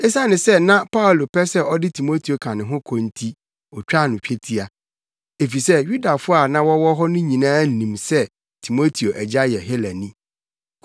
Esiane sɛ na Paulo pɛ sɛ ɔde Timoteo ka ne ho kɔ nti otwaa no twetia, efisɛ Yudafo a na wɔwɔ hɔ no nyinaa nim sɛ Timoteo agya yɛ Helani.